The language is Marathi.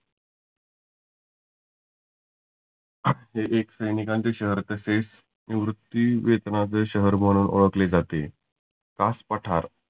जे एक सैनीकाच शहर तसेच निवृत्ती वेतनाचे शहर म्हणुन ओळखले जाते. कास पठार